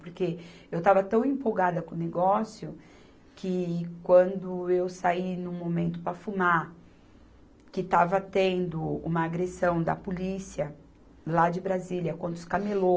Porque eu estava tão empolgada com o negócio, que quando eu saí num momento para fumar, que estava tendo uma agressão da polícia lá de Brasília, contra os camelô,